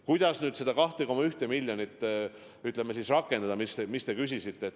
Kuidas seda teie viidatud 2,1 miljonit rakendada?